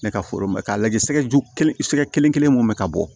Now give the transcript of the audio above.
Ne ka foro mɛn k'a lajɛ sɛgɛju kelen sɛgɛ kelen kelen mun be ka bɔ